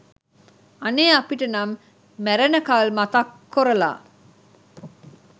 අනේ අපිට නම් මැරෙනකල් මතක් කොරලා